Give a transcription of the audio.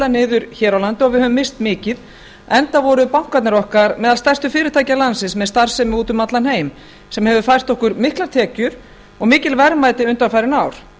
niður hér á landi og við höfum misst mikið enda voru bankarnir okkar meðal stærstu fyrirtækja landsins með starfsemi úti um allan heim sem hefur fært okkur miklar tekjur og mikil verðmæti undanfarin ár